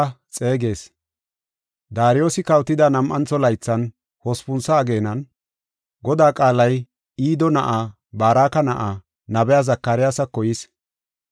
Daariyosi kawotida nam7antho laythan, hospuntho ageenan, Godaa qaalay Ido na7aa, Baraka na7aa, nabiya Zakariyasako yis.